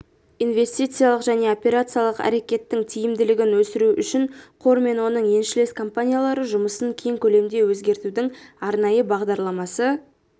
инвестициялық және операциялық әрекеттің тиімділігін өсіру үшін қор мен оның еншілес компаниялары жұмысын кең көлемде өзгертудің арнайы бағдарламасы